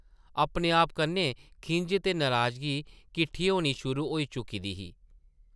अपने-आप कन्नै खिंझ ते नराजगी किट्ठी होनी शुरू होई चुकी दी ही ।